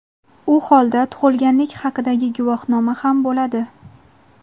u holda tug‘ilganlik haqidagi guvohnoma ham bo‘ladi.